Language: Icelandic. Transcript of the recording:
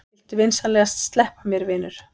Viltu vinsamlegast sleppa mér, vinur!